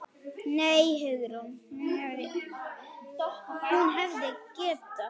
Nei, Hugrún, hún hefði getað.